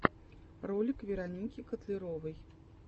ролик вероники котляровой